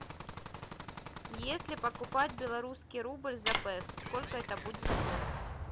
если покупать белорусский рубль за песо сколько это будет стоить